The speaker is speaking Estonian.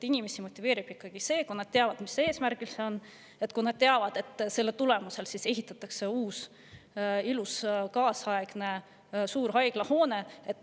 Inimesi motiveerib ikkagi see, kui nad teavad, mis selle eesmärk on, kui nad teavad, et selle tulemusel ehitatakse uus ilus kaasaegne suur haiglahoone.